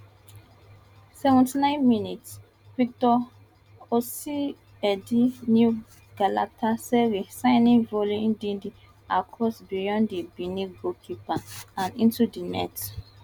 seventy nine minutes victor osimhendi new galatasaray signing volley ndidi cross beyond di benin goalkeeper and into di net